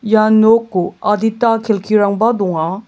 ia noko adita kelkirangba donga.